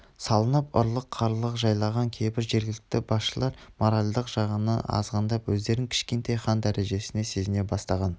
салынып ұрлық-қарлық жайлаған кейбір жергілікті басшылар моральдық жағынан азғындап өздерін кішкентай хан дәрежесінде сезіне бастаған